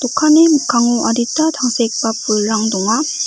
dokanni mikkango adita tangsekgipa pulrang donga.